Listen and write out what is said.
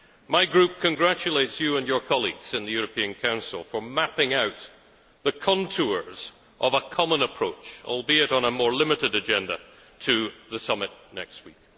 My group congratulates you and your colleagues in the European Council for mapping out the contours of a common approach, albeit on a more limited agenda, to the summit next week.